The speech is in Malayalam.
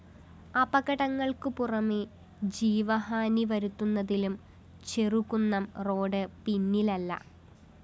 അപകടങ്ങള്‍ക്കുപുറമെ ജീവഹാനി വരുത്തുന്നതിലും ചെറുകുന്നം റോഡ്‌ പിന്നിലല്ല